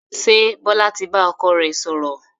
Ṣé Bọlá tí bá ọkọ rẹ sọ̀rọ̀?